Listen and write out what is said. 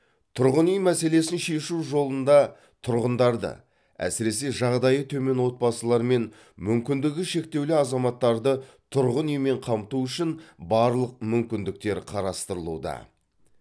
тұрғын үй мәселесін шешу жолында тұрғындарды әсіресе жағдайы төмен отбасылары мен мүмкіндігі шектеулі азаматтарды тұрғын үймен қамту үшін барлық мүмкіндіктер қарастырылуда